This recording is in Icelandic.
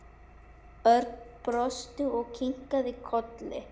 Örn brosti og kinkaði kolli.